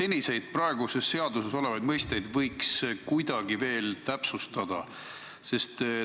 Kas praeguses seaduses olevaid mõisteid võiks kuidagi veel täpsustada?